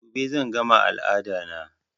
Gobe zan gama al'ada na